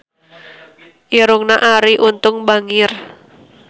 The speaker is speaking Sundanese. Irungna Arie Untung bangir